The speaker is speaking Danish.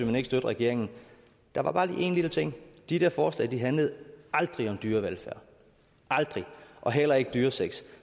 man ikke støtte regeringen der var bare lige en lille ting de der forslag handlede aldrig om dyrevelfærd aldrig og heller ikke om dyresex